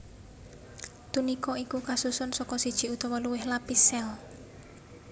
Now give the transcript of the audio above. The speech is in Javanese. Tunika iku kasusun saka siji utawa luwih lapis sél